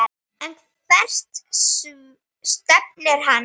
En hvert stefnir hann?